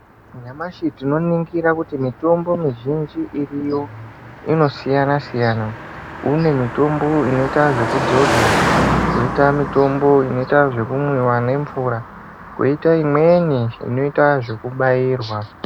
Nyamashi tinoningira kuti mitombo mizhinji iriyo inosiyana siyana. Kune mitombo inoite zvekudzodzwa, koita mitombo inoita kumwiwa nemvura, koita imweni inoita zvekubairwa.